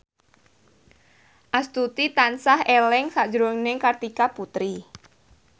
Astuti tansah eling sakjroning Kartika Putri